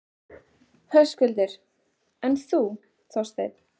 Höskuldur: En þú, Þorsteinn?